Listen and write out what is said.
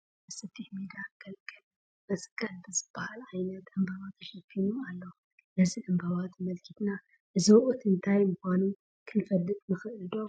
ሓደ ሰፊሕ ሜዳ ገልገለ መስቀል ብዝብሃል ዓይነት ዕምበባ ተሸፍኒ ኣሎ፡፡ ነዚ ዕምባባ ተመልኪትና እዚ ወቕቲ እንታይ ምዃኑ ክንፈልጥ ንኽእል ዶ?